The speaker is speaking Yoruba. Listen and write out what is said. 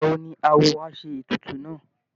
Ìgbà wo ni awo á ṣe ètùtù náà?